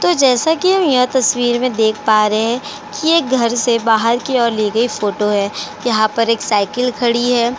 तो जैसा कि हम यह तस्वीर में देख पा रहे हैं कि यह घर से बाहर की ओर ली गई फोटो है। यहाँ पर एक साइकिल खड़ी है।